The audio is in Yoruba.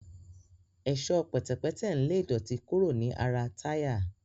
Ẹ̀ṣọ́ pẹ̀tẹ̀pẹ́tẹ̀ ń lé ìdọ̀tí kúrò ní ara táyà